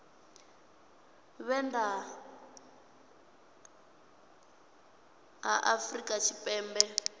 vhe nnḓa ha afrika tshipembe